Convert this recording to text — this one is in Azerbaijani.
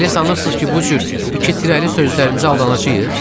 Elə sanırsız ki, bu cür iki tirəli sözlərinizə aldanacağıq?